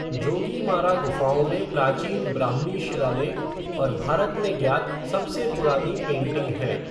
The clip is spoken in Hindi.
जोगीमारा गुफाओं में प्राचीन ब्राह्मी शिलालेख और भारत में ज्ञात सबसे पुरानी पेंटिंग हैं।